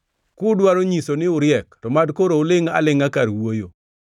Kudwaro nyiso ni uriek to mad koro ulingʼ alingʼa kar wuoyo!